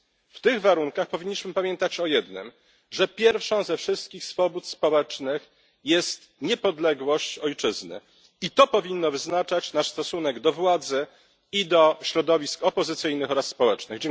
W tych warunkach powinniśmy pamiętać o jednym, że pierwszą ze wszystkich swobód społecznych jest niepodległość ojczyzny i to powinno wyznaczać nasz stosunek do władzy i do środowisk opozycyjnych oraz społecznych.